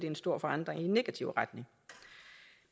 en stor forandring i negativ retning